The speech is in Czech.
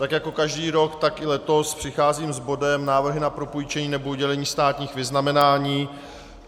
Tak jako každý rok, tak i letos přicházím s bodem Návrhy na propůjčení nebo udělení státních vyznamenání.